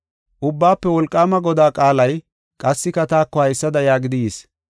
Ubbaafe Wolqaama Godaa qaalay qassika taako haysada yaagidi yis: